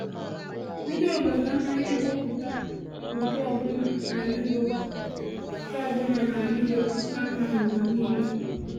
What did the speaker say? Ndị obodo anaghị ewepụta udo ọbụna n’Ụróòp, ka ọbụna n’Ụróòp, ka mma n’ụwa um niile.